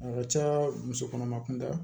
A ka ca muso kɔnɔma kunda